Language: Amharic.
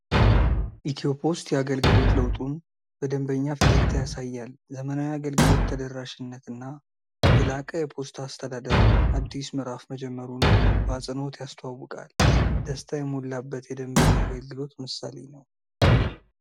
ኢትዮፖስት የአገልግሎት ለውጡን በደንበኛ ፈገግታ ያሳያል። ዘመናዊ አገልግሎት፣ ተደራሽነትና የላቀ የፖስታ አስተዳደር አዲስ ምዕራፍ መጀመሩን በአፅንኦት ያስተዋውቃል። ደስታ የሞላበት የደንበኛ አገልግሎት ምሳሌ ነው።